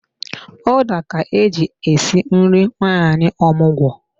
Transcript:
Ụda ka eji esi nri nwanyị omụgwọ